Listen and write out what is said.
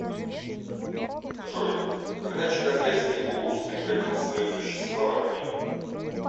джой когда чагатайский улус прекратил свое существование